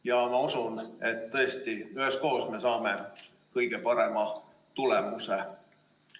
Ja ma usun, et üheskoos me saame kõige parema tulemuse.